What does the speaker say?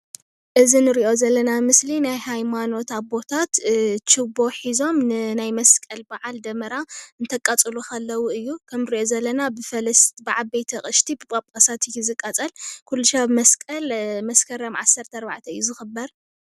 እዚ ንሪኦ ዘለና ምስሊ ናይ ሃይማኖት ኣቦታት ችቦ ሒዞም ንናይ መስቀል ደመራ እንተቃፅሉ ኸለው እዩ፡፡ ከምንሪኦ ዘለና ብፈለስቲ፡ብዓበይቲ ኣቕሽቲ ብጳጳሳት እዩ ዝቃፀል፡፡ ኩሉሻብ መስቀል መስከረም 17 እዩ ዝኽበር፡፡